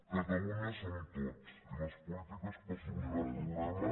catalunya som tots i les polítiques per solucionar pro·blemes